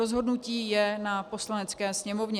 Rozhodnutí je na Poslanecké sněmovně.